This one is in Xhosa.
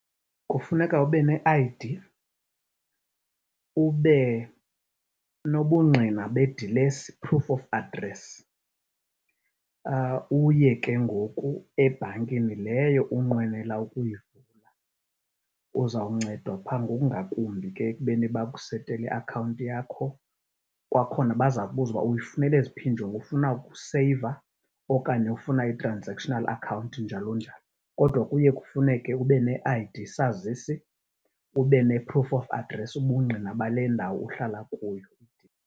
Kufuneka ube ne-I_D, ube nobungqina bedilesi, proof of address, uye ke ngoku ebhankini leyo unqwenela ukuyivula. Uzawuncedwa phaa ngokungakumbi ke ekubeni bakusetele iakhawunti yakho. Kwakhona baza kubuza uba uyifunela eziphi iinjongo, ufuna ukuseyiva okanye ufuna i-transactional account, njalo njalo. Kodwa kuye kufuneke ube ne-I_D, isazisi, ube ne-proof of address, ubungqina bale ndawo uhlala kuyo.